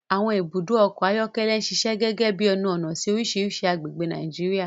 Àwọn ibùdó ọkọ̀ ayọ́kẹ́lẹ́ ń ṣiṣẹ́ gẹ́gẹ́ bí ẹnu-ọ̀nà sí oríṣiríṣi agbègbè ní Nàìjíríà.